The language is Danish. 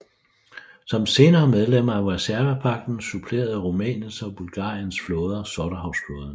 Som senere medlemmer af Warszawapagten supplerede Rumæniens og Bulgariens flåder Sortehavsflåden